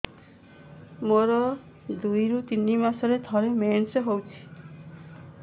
ମୋର ଦୁଇରୁ ତିନି ମାସରେ ଥରେ ମେନ୍ସ ହଉଚି